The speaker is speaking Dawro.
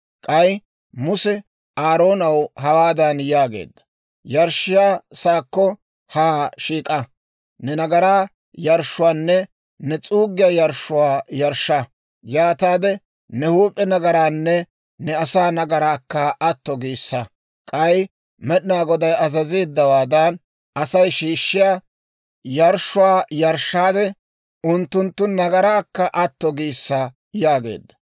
K'ay Muse Aaroonaw hawaadan yaageedda; «Yarshshiyaa saakko haa shiik'a; ne nagaraa yarshshuwaanne ne s'uuggiyaa yarshshuwaa yarshsha; yaataade ne huup'e nagaraanne ne asaa nagaraakka atto giissa. K'ay Med'inaa Goday azazeeddawaadan, Asay shiishshiyaa yarshshuwaa yarshshaade, unttunttu nagaraakka atto giissa» yaageedda.